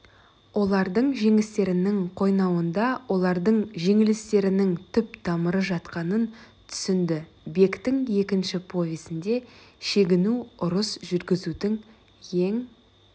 олардың жеңістерінің қойнауында олардың жеңілістерінің түп тамыры жатқанын түсінді бектің екінші повесінде шегіну ұрыс жүргізудің ең